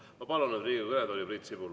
Ma palun nüüd Riigikogu kõnetooli Priit Sibula.